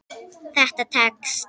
Það tekst.